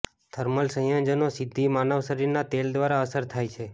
thermal સંયોજનો સીધી માનવ શરીરના તેલ દ્વારા અસર થાય છે